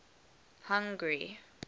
hungary